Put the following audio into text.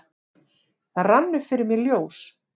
Það rann upp fyrir mér ljós: